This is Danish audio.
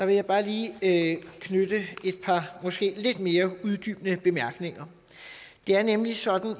jeg bare lige knytte et par måske lidt mere uddybende bemærkninger det er nemlig sådan